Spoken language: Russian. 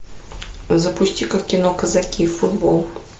запусти ка кино казаки футбол